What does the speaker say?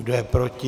Kdo je proti?